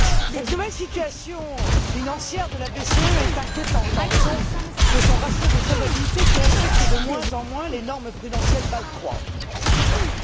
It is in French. Cette nouvelle situation financière de la BCE est inquiétante en raison de son ratio de solvabilité qui respecte de moins en moins les normes prudentielles Bâle III.